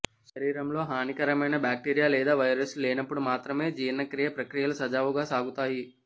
శరీరంలో హానికరమైన బ్యాక్టీరియా లేదా వైరస్లు లేనప్పుడు మాత్రమే జీర్ణక్రియ ప్రక్రియలు సజావుగా సాగుతాయి